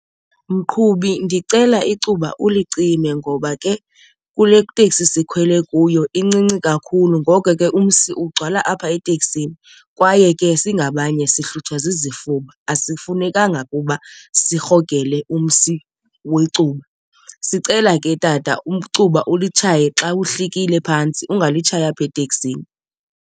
Mqhubi, ndicela icuba ulicime ngoba ke kule teksi sikhwele kuyo incinci kakhulu ngoko ke umsi ugcwala apha eteksini. Kwaye ke singabanye sihlutshwa zizifuba, asifunekanga ukuba sirhogele umsi wecuba. Sicela ke tata icuba ulitshaye xa uhlikile phantsi ungalitshayi apha eteksini.